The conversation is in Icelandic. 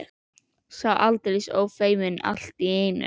Sá var aldeilis ófeiminn allt í einu!